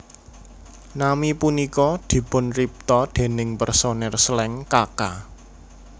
Nami punika dipunripta déning personel Slank Kaka